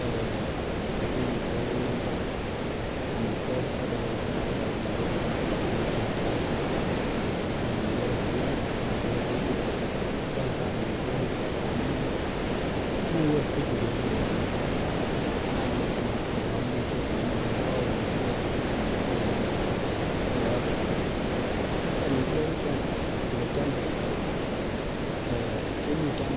Eeh tukuchu okere en ireyuu ko omitwokik choton chekokichop kabisa en chobet noton nemiten en barakyat tii ne ndiker okot okinyee ana inkoker chitukul ko kose taam omitwokik chuu ndamun nguu ot buch nkeker en yaani komokiriki ot olemiten kokokongu buch ot en yaani iribut nenywanet en olekotepto. Ko omitwokik chuu anyin olekiomdo eh kemuche kiam